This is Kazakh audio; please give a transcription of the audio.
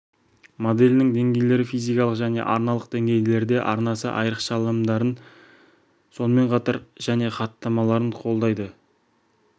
моделінің деңгейлері физикалық және арналық деңгейлерде арнасы айрықшаланымдарын сонымен қатар және хаттамаларын қолдайды